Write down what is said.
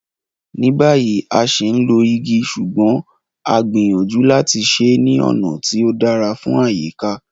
Ní báyìí, a ṣì ń lo igi ṣùgbọ́n a gbìyànjú láti ṣe é ní ọ̀nà tí ó dára fún àyíká.